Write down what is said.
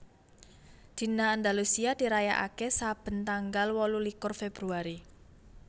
Dina Andalusia dirayakaké saben tanggal wolulikur Februari